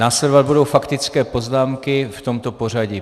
Následovat budou faktické poznámky v tomto pořadí.